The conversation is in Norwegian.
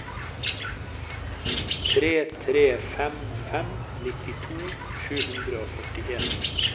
tre tre fem fem nittito sju hundre og førtien